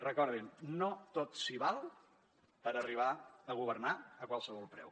recordin no tot s’hi val per arribar a governar a qualsevol preu